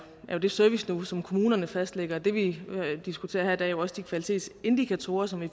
er jo det serviceniveau som kommunerne fastlægger det vi diskuterer her i dag er jo også de kvalitetsindikatorer som vi